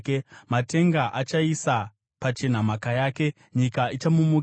Matenga achaisa pachena mhaka yake; nyika ichamumukira.